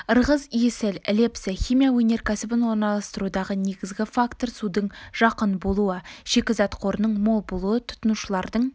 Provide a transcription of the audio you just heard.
ырғыз есіл лепсі химия өнеркәсібін орналастырудағы негізгі фактор судың жақын болуы шикізат қорының мол болуы тұтынушылардың